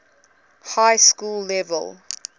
high school level